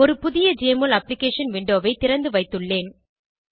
ஒரு புதிய JMOL application விண்டோவை திறந்துவைத்துள்ளேன்